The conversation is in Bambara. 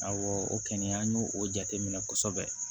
Awɔ o kɔni an y'o o jateminɛ kosɛbɛ